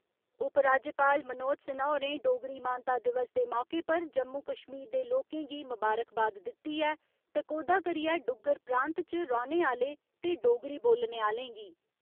उप राज्यपाल मनोज सिन्हा होरें डोगरी मानता दिवस दे मौके पर जम्मू कश्मीर दे लोकें गी मबारकबाद दित्ती ऐ, टकोह्दा करिए डुग्गर प्रांत च रौने आह्‌ले ते डोगरी बोलने आह्‌लें गी।